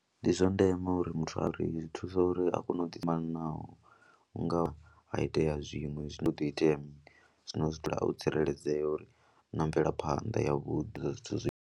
Ndi zwa ndeme uri muthu a uri zwi thusa uri a kone u ḓi fhambanaho u nga ha itea zwiṅwe zwi do itea mini, zwino u zwi dzula o tsireledzea uri u na mvelaphanḓa yavhuḓi na zwithu.